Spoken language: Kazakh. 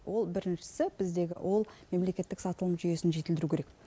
ол біріншісі біздегі ол мемлекеттік сатылым жүйесін жетілдіру керек